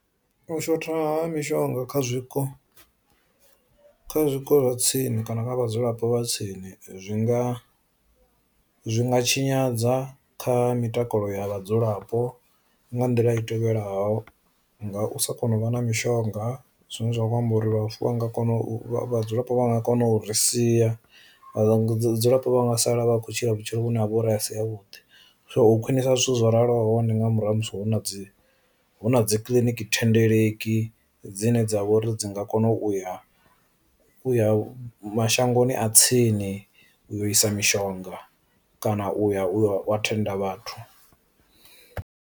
U shotha ha mishonga kha zwiko kha zwiko zwa tsini kana kha vhadzulapo vha tsini zwi nga zwi nga tshinyadza kha mitakalo ya vhadzulapo nga nḓila i tevhelaho, nga u sa kona u vha na mishonga zwine zwa khou amba uri vhaswa vha nga kona u vhadzulapo vha nga kona u ri sia vha vhudzulapo nga sala vha tshi khou tshila vhutshilo vhune ha vha uri a si a vhuḓi so khwinisa zwithu zwo raloho hone nga murahu ha musi hu na huna dzi kiḽiniki thendeleki dzine dza vha uri dzi nga kona u ya u ya mashangoni a tsini uyo isa mishonga kana u ya u thenda vhathu.